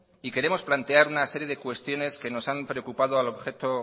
y queremos plantear una serie de cuestiones que nos han preocupado